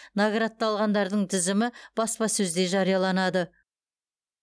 наградталғандардың тізімі баспасөзде жарияланады